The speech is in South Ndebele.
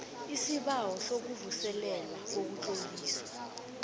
isibawo sokuvuselelwa kokutloliswa